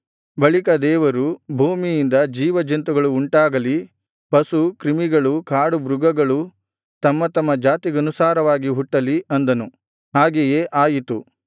ಬಳಿಕ ದೇವರು ಭೂಮಿಯಿಂದ ಜೀವಜಂತುಗಳು ಉಂಟಾಗಲಿ ಪಶು ಕ್ರಿಮಿಗಳೂ ಕಾಡುಮೃಗಗಳು ತಮ್ಮ ತಮ್ಮ ಜಾತಿಗನುಸಾರವಾಗಿ ಹುಟ್ಟಲಿ ಅಂದನು ಹಾಗೆಯೇ ಆಯಿತು